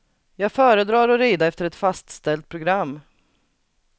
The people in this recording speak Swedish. Jag föredrar att rida efter ett fastställt program.